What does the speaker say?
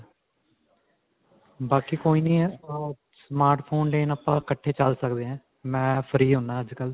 ਬਾਕੀ ਕੋਈ ਨਹੀਂ smart phone ਲੈਣ ਆਪਾਂ ਇਕੱਠੇ ਚੱਲ ਸਕਦੇ ਹਾਂ. ਮੈਂ free ਹੁੰਨਾ ਅੱਜਕਲ੍ਹ.